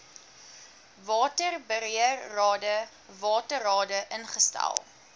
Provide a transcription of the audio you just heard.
waterbeheerrade waterrade ingestel